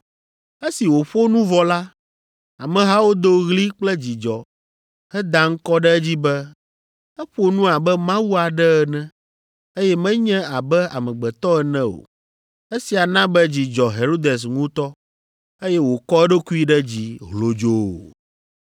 Esi wòƒo nu vɔ la, amehawo do ɣli kple dzidzɔ heda ŋkɔ ɖe edzi be, “Eƒo nu abe mawu aɖe ene, eye menye abe amegbetɔ ene o.” Esia na be dzi dzɔ Herodes ŋutɔ, eye wòkɔ eɖokui ɖe dzi hlodzoo.